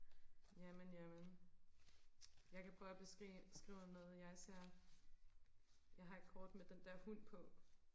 jamen jamen jeg kan prøve og beskrive noget jeg ser jeg har et kort med den der hund på